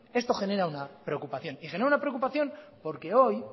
esto genera una preocupación porque hoy